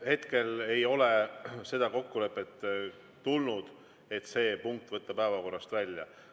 Hetkel ei ole seda kokkulepet tulnud, et see punkt võtta päevakorrast välja.